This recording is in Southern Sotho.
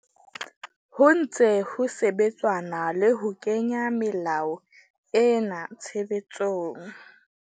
Ho ntse ho sebetsanwa le ho kenya melao ena tshebetsong.